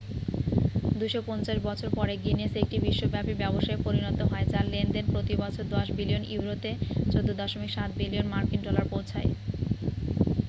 250 বছর পরে গিনেস একটি বিশ্বব্যাপী ব্যবসায় পরিণত হয় যার লেনদেন প্রতি বছর 10 বিলিয়ন ইউরোতে 14.7 বিলিয়ন মার্কিন ডলার পৌঁছায়।